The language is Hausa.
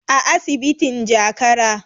a asibitin jakara